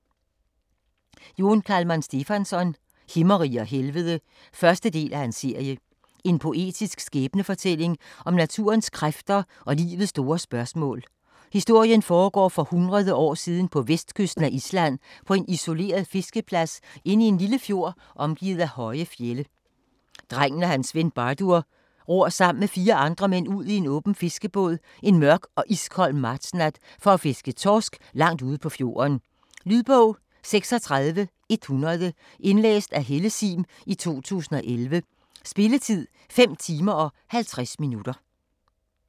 Jón Kalman Stefánsson: Himmerige og helvede 1. del af serie. En poetisk skæbnefortælling om naturens kræfter og livets store spørgsmål. Historien foregår for hundrede år siden på vestkysten af Island på en isoleret fiskeplads inde i en lille fjord omgivet af høje fjelde. Drengen og hans ven Bardur ror sammen med fire andre mænd ud i en åben fiskebåd en mørk og iskold martsnat for at fiske torsk langt ude på fjorden. . Lydbog 36100 Indlæst af Helle Sihm, 2011. Spilletid: 5 timer, 50 minutter.